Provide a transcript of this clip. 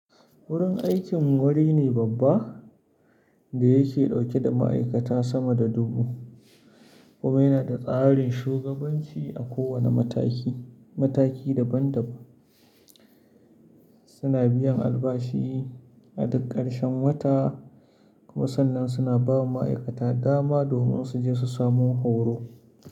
Wurin aikin mu wuri ne babba da yake dauke da ma'aikata sama da dubu kuma yana da tsarin shugabanci a kowane mataki. Mataki daban-daban suna biyan albashi a duk karshen wata kuma sannan suna ba wa ma'aikata dama domin su je su samo horo.